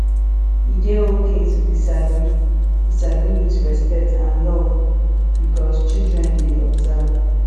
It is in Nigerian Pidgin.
e de okay to disagree disagree with respect and love because childen de observe